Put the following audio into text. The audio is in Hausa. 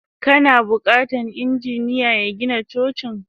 Kana bukatan injiniya ya Gina Cocin.